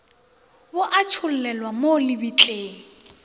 bo a tšhollelwa mo lebitleng